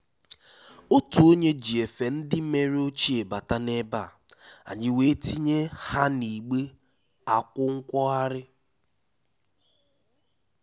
Ótú ónyé jí éfé ndí mèré óchíé bátá n’ébé á, ànyị́ wéé tínyé há n’ígbé ákwụ̀ nwóghárí.